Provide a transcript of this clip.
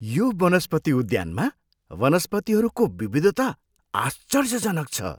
यो वनस्पति उद्यानमा वनस्पतिहरूको विविधता आश्चर्यजनक छ!